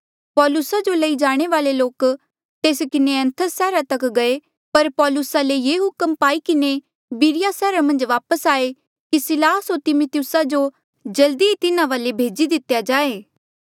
पौलुसा जो लई जाणे वाले लोके तेस किन्हें एथेंस सैहरा तक गये पर पौलुसा ले ये हुक्म पाई किन्हें बिरिया सैहरा मन्झ वापस आये की सिलास होर तिमिथियुसा जो जल्दी ही तिन्हा वाले भेजी दितेया जाये